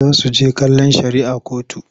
Za su he kallon shari'ah kotu.